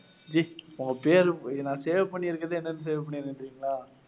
G, உங்க பேரு, நான் save பண்ணியிருக்கறது என்னன்னு save பண்ணியிருக்கேன் தெரியுங்களா?